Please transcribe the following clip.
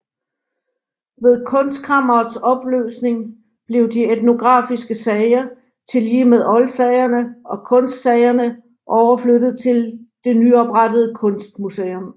Ved Kunstkammerets opløsning blev de etnografiske sager tillige med oldsagerne og kunstsagerne overflyttede til det nyoprettede Kunstmuseum